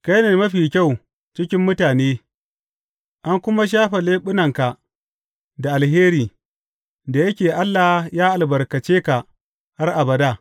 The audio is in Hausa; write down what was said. Kai ne mafi kyau cikin mutane an kuma shafe leɓunanka da alheri, da yake Allah ya albarkace ka har abada.